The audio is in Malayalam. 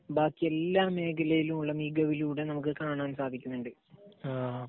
ബാക്കിയെല്ലാ മേഖലയിലുമുള്ള മികവിലൂടെ നമുക്ക് കാണാൻ സാധിക്കുന്നുണ്ട്. എഹ്